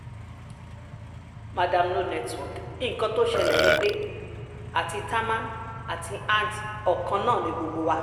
mandarin no network nǹkan tó ṣẹlẹ̀ ni pé àti támán àti antt ọkàn náà ni gbogbo wa